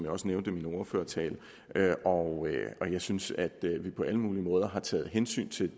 også nævnte i min ordførertale og jeg synes at vi på alle mulige måder har taget hensyn til